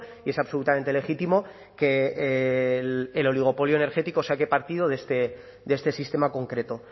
y es absolutamente legítimo que el oligopolio energético saque partido de este sistema concreto